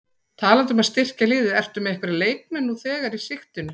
Talandi um að styrkja liðið, ertu með einhverja leikmenn nú þegar í sigtinu?